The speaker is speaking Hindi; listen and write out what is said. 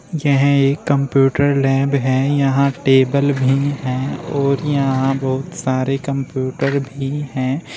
यह एक कंप्यूटर लैब है यहां टेबल भी हैं और यहां बहुत सारे कंप्यूटर भी हैं।